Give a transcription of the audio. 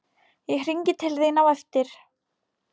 Ég hringi til þín á eftir